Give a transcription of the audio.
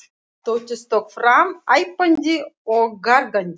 Tóti stökk fram æpandi og gargandi.